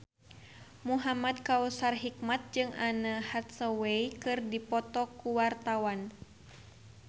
Muhamad Kautsar Hikmat jeung Anne Hathaway keur dipoto ku wartawan